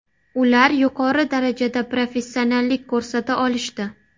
Ular yuqori darajada professionallik ko‘rsata olishdi.